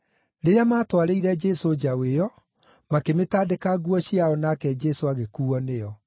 Rĩrĩa maatwarĩire Jesũ njaũ ĩyo, makĩmĩtandĩka nguo ciao nake Jesũ agĩkuuo nĩyo.